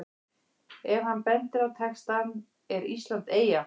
Ef hann bendir á textann ER ÍSLAND EYJA?